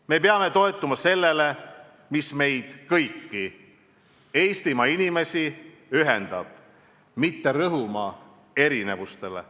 Me peame toetuma sellele, mis meid kõiki – Eestimaa inimesi – ühendab, mitte rõhuma erinevustele.